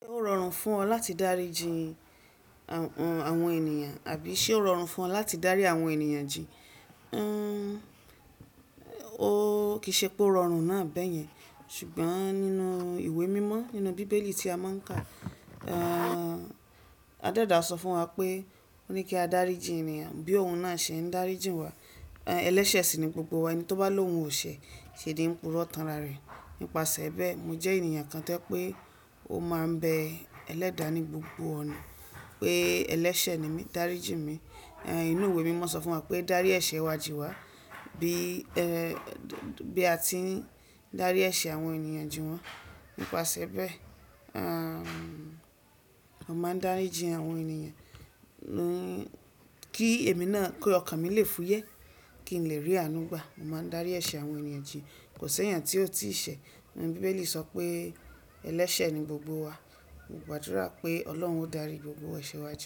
Ó rọrùn fún ọ láti dáríji àwọn ènìyàn àbí ṣe ó rọrùn fún ọ láti dárí àwọn ènìyàn jì? Ó kì í ṣe pé ó rọrùn náà bẹ́yẹn, ṣùgbọ́n nínú ìwé mímọ́ nínú bíbélì tí a máa ń kà, adéda sọ fún wa pé ó ní kí á dáríji ènìyàn bí òun náà ṣe ń dáríji wa. Ẹlẹ́sẹ̀ sì ni gbogbo wa, ẹni tó bá lo òun ò ṣe, ṣe dín purọ́ tánra rẹ̀. Nípasẹ̀ bẹ́ẹ̀, mo jẹ́ ènìyàn kan tó pé ó máa ń bẹ ẹlẹ́dàá ní gbogbo ọ̀nà pé ẹlẹ́sẹ̀ ni mí, dáríji mi. Ìwé mímọ́ sọ fún wa pé dárí ẹ̀ṣẹ̀ wa jì wá bí a ti ń dárí ẹ̀ṣẹ̀ àwọn ènìyàn jì wọ́n. Nípasẹ̀ bẹ́ẹ̀, a máa ń dáríji àwọn ènìyàn kí èmi náà kí ọkàn mi lè fúyẹ́, kí n lè rí àánú gbà. Mo máa ń dárí ẹ̀ṣẹ̀ àwọn ènìyàn jì. Kò ṣéyàn tí ó tiì ṣẹ̀. Bíbélì sọ pé ẹlẹ́sẹ̀ ni gbogbo wa. Mo gbàdúrà pé Ọlọ́run ó dárí gbogbo ẹ̀ṣẹ̀ wa jì.